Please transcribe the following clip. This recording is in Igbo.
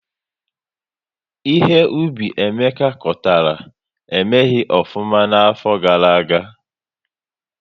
Ihe Ubi Emeka kọtara, emeghị ofụma na afo gara-aga